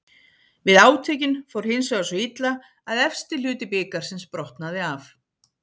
Við átökin fór hinsvegar svo illa að efsti hluti bikarsins brotnaði af.